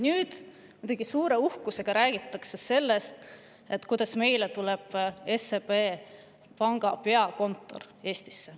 Nüüd muidugi räägitakse suure uhkusega sellest, kuidas Eestisse tuleb SEB panga peakontor.